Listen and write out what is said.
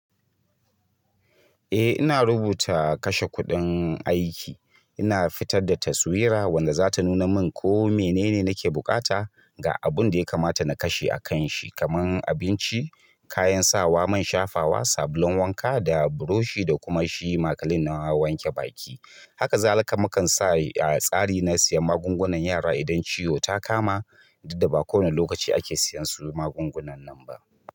Eh ina rubuta kashe kuɗin aiki, ina fitar da taswira wadda za ta nuna min ko mene ne nake buƙata ga abun da ya kamata na kashe a kan shi kamar abinci, kayan sawa, man shafawa, sabulun wanka da burushi da kuma shi makalin na wanke baki. Haka zalika mukan sa a tsari na siya magungunan yara idan ciwo ta kama, duk da ba kowane lokaci ake siyan su magungunan nan ba.